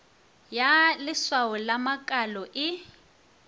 ya leswao la makalo e